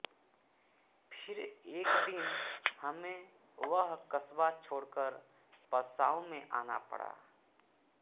फिर एक दिन हमें वह कस्बा छोड़कर पसाऊ में आना पड़ा